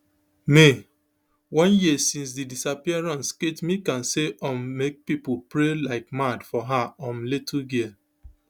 may one year since di disappearance kate mccann say um make pipo pray like mad for her um little girl